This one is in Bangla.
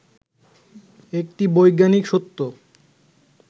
একটি বৈজ্ঞানিক সত্য